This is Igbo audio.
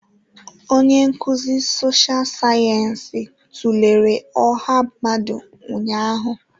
Onye nkuzi sọsha sayensị tụlere ọha mmadụ ụnyaahụ.